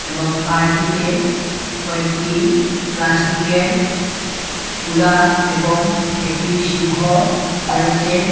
এবং পার্কটিতে কয়েকটি প্লাস্টিকের ঘুড়া এবং একটি সিংহ রয়েছে।